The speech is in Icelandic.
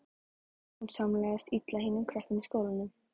Hún samlagaðist illa hinum krökkunum í skólanum.